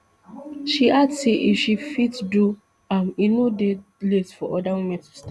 she add say if she fit do am e no dey late for oda women to start